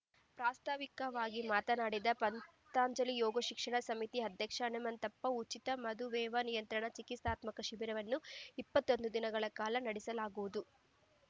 ಪ್ರಾಸ್ತಾವಿಕವಾಗಿ ಮಾತನಾಡಿದ ಪಂತಂಜಲಿ ಯೋಗ ಶಿಕ್ಷಣ ಸಮಿತಿ ಅಧ್ಯಕ್ಷ ಹನುಮಂತಪ್ಪ ಉಚಿತ ಮಧುಮೇಹ ನಿಯಂತ್ರಣ ಚಿಕಿತ್ಸಾತ್ಮಕ ಶಿಬಿರವನ್ನು ಇಪ್ಪತ್ತೊಂದು ದಿನಗಳ ಕಾಲ ನಡೆಸಲಾಗುವುದು